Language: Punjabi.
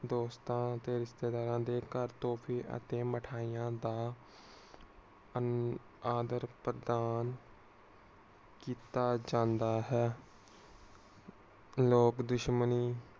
ਦੋਸਤਾਂ ਤੇ ਰਿਸ਼ਤੇਦਾਰਾਂ ਦੇ ਘਰ ਭੀ ਮਿਠਾਈਆਂ ਦਾ ਅਮ ਆਦਾਰ ਪ੍ਰਧਾਨ ਕੀਤਾ ਜਾਂਦਾ ਹੈ। ਲੋਕ ਦੁਸ਼ਮਣੀ